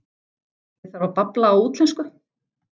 Ég þarf að babla á útlensku.